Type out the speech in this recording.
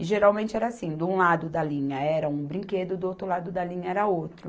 E geralmente era assim, de um lado da linha era um brinquedo, do outro lado da linha era outro.